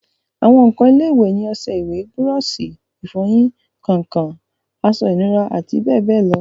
àwọn ǹkan ilé-ìwẹ̀ ni ọsẹ ìwẹ̀, búrọ̀sì ìfọyín, kàǹkàn, aṣọ ìnura àti bẹ́ẹ̀bẹ́ẹ̀ lọ